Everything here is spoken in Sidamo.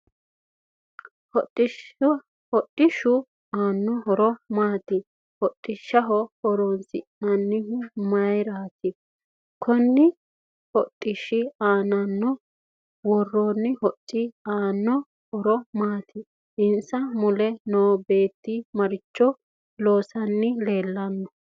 Hodhishu aano horo maati hodhisha horoonsinanihu mayiirati konni hodhishira aanaho worooni hocci aanno horo maati insa mule noo beeti maricho loosani leelanno